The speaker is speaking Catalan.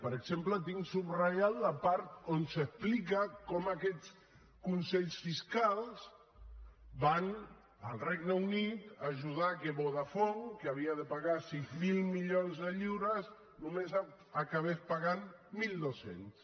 per exemple tinc subratllada la part on s’explica com aquests consells fiscals van al regne unit a ajudar que vodafone que havia de pagar sis mil milions de lliures només n’acabés pagant mil dos cents